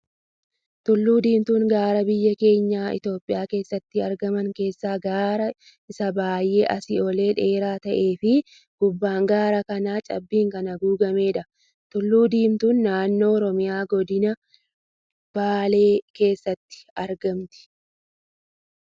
Tullu diimtuun gaara biyya keenya Itoophiyaa keessatti argaman keessaa gaara isa baayyee asii olee dheeraa ta'ee fi gubbaan gaara kanaa cabbiin kan haguugamedha. Tullu diimtuun naannoo Oromiyaa godina baalee keessatti argamti.